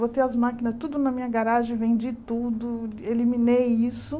Botei as máquinas tudo na minha garagem, vendi tudo, eliminei isso.